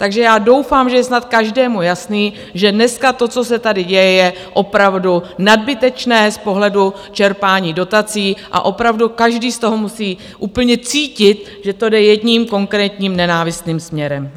Takže já doufám, že je snad každému jasné, že dneska to, co se tady děje, je opravdu nadbytečné z pohledu čerpání dotací, a opravdu každý z toho musí úplně cítit, že to jde jedním konkrétním nenávistným směrem.